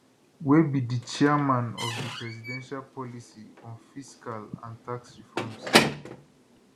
wey be di chairman of di presidential policy on fiscal and tax reforms